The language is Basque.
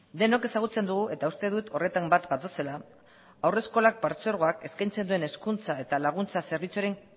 denok ezagutzen dugu eta uste dut horretan bat gatozela haurreskolak partzuergoak eskaintzen duen hezkuntza eta laguntza zerbitzuaren